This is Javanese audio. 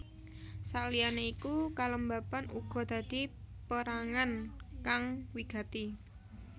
Sakliyane iku kelembaban uga dadi perangan kang wigati